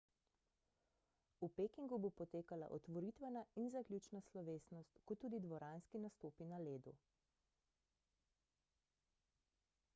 v pekingu bo potekala otvoritvena in zaključna slovesnost kot tudi dvoranski nastopi na ledu